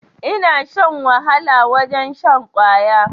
Ina shan wahala wajen shan kwaya